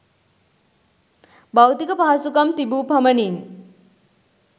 භෞතික පහසුකම් තිබූ පමණින්